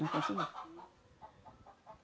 Não conseguiu.